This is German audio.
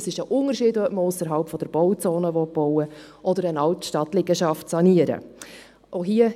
Es ist ein Unterschied, ob man ausserhalb der Bauzone bauen oder eine Altstadtliegenschaft sanieren will.